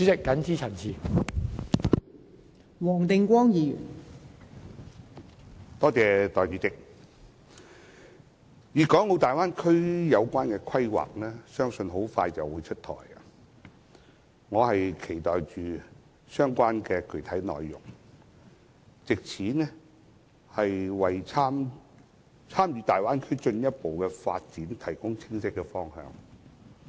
代理主席，相信粵港澳大灣區的規劃快將出台，我正期待相關的具體內容，能為參與大灣區的進一步發展提供清晰的方向。